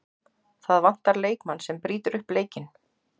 Það vantar leikmann sem brýtur upp leikinn.